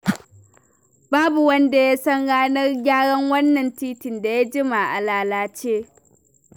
Babu wanda ya san ranar gyaran wannan titin da ya jima a lalace.